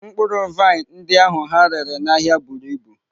Mkpụrụ vaịn ndị ahụ ha rere n'ahịa buru ibu.